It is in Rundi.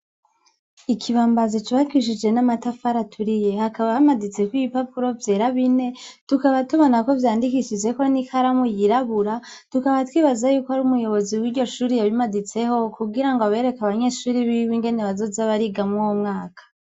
Ikibambazi cubakishijwe namatafari aturiye hakaba haditseko ibipapuro vyera bine tukaba tubona ko vyandikishijweko nikaramu yirabura tukaba twibaza yuko ari umuyobozi wiryo shure yabimaditseho kugira abereke abanyeshure biwe ingene bazoza bariga mwuwo mwaka